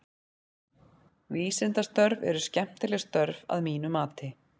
Vísindastörf eru skemmtileg störf að mínu mati.